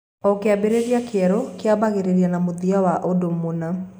O kĩambĩrĩria kĩerũ kĩambagĩrĩria na mũthia wa ũndũ mũna.